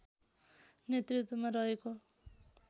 नेतृत्वमा रहेको